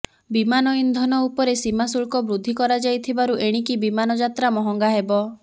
ବିମାନ ଇନ୍ଧନ ଉପରେ ସୀମା ଶୁଳ୍କ ବୃଦ୍ଧି କରାଯାଥିବାରୁ ଏଣିକି ବିମାନ ଯାତ୍ରା ମହଙ୍ଗା ହେବ